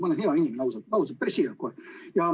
Ma olen hea inimene, ausalt, päris siiralt kohe.